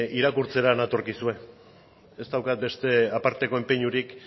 irakurtzera natorkizue ez daukat beste aparteko enpeinurik